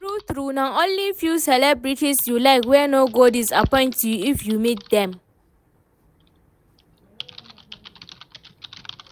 True true, na only few celebrities you like wey no go disappoint you if you meet dem